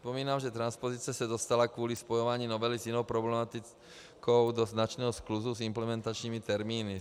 Připomínám, že transpozice se dostala kvůli spojování novely s jinou problematikou do značného skluzu s implementačními termíny.